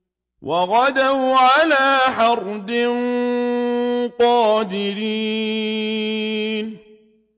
وَغَدَوْا عَلَىٰ حَرْدٍ قَادِرِينَ